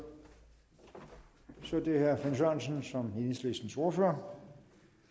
så er det herre finn sørensen som enhedslistens ordfører